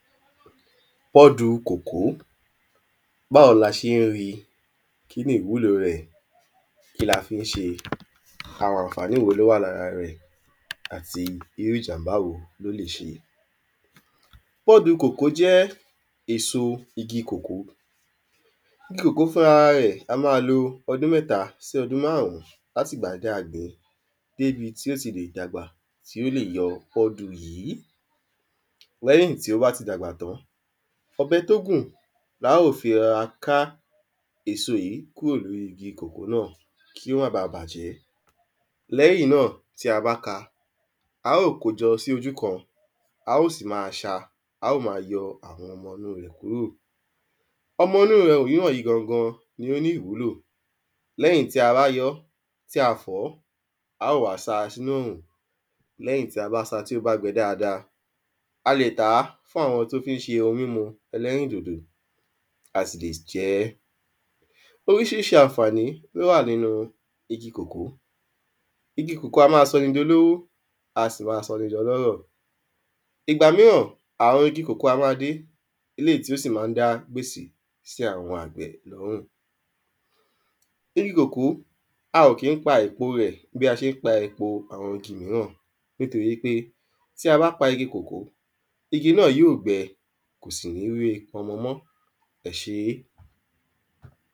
pọ́du kòkó báwo la ṣe ń rí i,kínni ìwúlo rẹ̀, kí la fi ń ṣe, àwọn àǹfàní wo ló wà lára rẹ̀, àti ìrú ìjàm̀bá wo ló lè ṣe pọ́dù kòkó jẹ́ èso ìgi kòkó, igi kòkó gan fúnra rẹ̀ á máa lo ọdún mẹ́ta sí ọdún máàrún láti ìgbà tí a gbìn ín níbi tí ó ti lè dàgbà tí o ti lè yọ pọ́dù yìí lẹ́yìn tí ó bá ti dàgbà tán, ọ̀bẹ tó gùn la óò fi rọra ká èso yìí kúrò lóri igi kòkó náà kí ó má baà bàjẹ́ lẹ́yìn náà tí a bá ká a, a óò kó o jọ sí ojú kan, a óò sì máa sá a, a óò sì máa yọ ọ́ àwọn ọmọ inu rẹ̀ kúrò ọmọ inu rẹ̀ omíràn yi gangan ni ó ní ìwúlò lẹ́yìn tí a bá yọ ọ́ tí a fọ̀ ọ́ a óò wá sa sínu òòrùn lẹ́yìn tí a bá sá a tí ó bá gbẹ dáadáa, a lè tà á fún àwọn tí ó fi ń ṣe ohun mímu ẹlẹ́rìndòdò a sì lè jẹ ẹ́ oríṣiríṣi àǹfàní ló wà nínu ìgi kòkó. igi kòkó á máa sọni di olówó a sì máa sọ ni di ọlọ́rọ̀ ìgbà míràn àwọn igi kòkó á máa dín eléyìí tí ó sì ma ń dá gbèsè sí àwọn àgbẹ̀ lọ́rùn igi kòkó a o kì ń pa epo rẹ̀ bí a ṣe ń pa epo àwọn igi míràn nítorí pé ti a ba pa igi kòkó, igi náà yóò gbẹ, kò sì ní we ọmọ mọ́. ẹ ṣé